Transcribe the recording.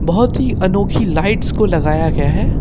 बहोत ही अनोखी लाइट्स को लगाया गया है।